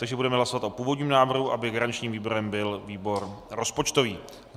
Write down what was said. Takže budeme hlasovat o původním návrhu, aby garančním výborem byl výbor rozpočtový.